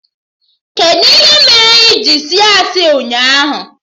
Kedụ ihe mee iji sị asị ụnyaahụ?